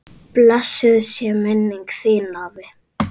Blessuð sé minning þín, afi.